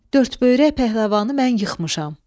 Dördböyrək pəhləvanı mən yıxmışam.